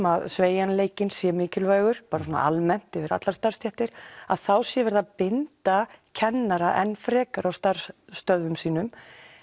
að sveigjanleikinn sé mikilvægur bara svona almennt yfir allar starfsstéttir þá sé verið að binda kennara enn frekar á starfsstöðvum sínum